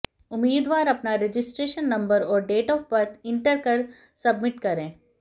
उम्मीदवार अपना registration number और डेट ऑफ बर्थ इंटर कर सबमिट करें